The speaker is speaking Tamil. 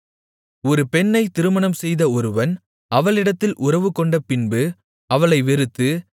ஒரு பெண்ணைத் திருமணம்செய்த ஒருவன் அவளிடத்தில் உறவுகொண்ட பின்பு அவளை வெறுத்து